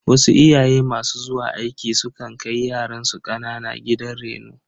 Wasu iyaye masu zuwa aiki su kan kai yaransu kanana gidan reno.